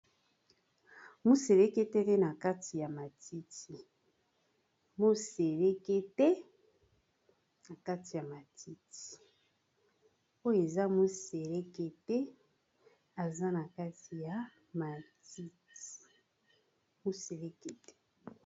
Moselekete na kati ya matiti.